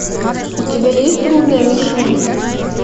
у тебя есть трудная мишень